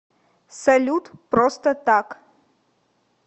салют просто так